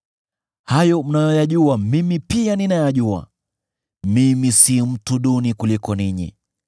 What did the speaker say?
Hayo mnayoyajua mimi pia ninayajua; mimi si mtu duni kuliko ninyi.